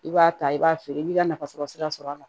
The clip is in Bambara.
I b'a ta i b'a feere i b'i ka nafa sɔrɔ sira sɔrɔ a la